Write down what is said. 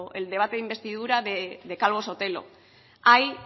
el debate de investidura de calvo sotelo ahí